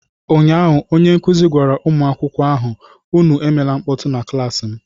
Ụnyaahụ onye nkuzi gwara ụmụ akwụkwọ ahụ, Unu emela mkpọtụ na klaasị m!